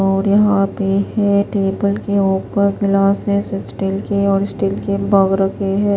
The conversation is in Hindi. और यहाँ पे हैटेबल के ऊपर ग्लासेज स्टील के और स्टील के मग रखे है।